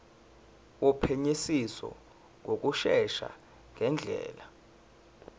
wophenyisiso ngokushesha ngendlela